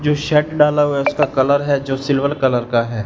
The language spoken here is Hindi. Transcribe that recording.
जो शेड डाला हुआ उसका कलर है जो सिल्वर कलर का हैं।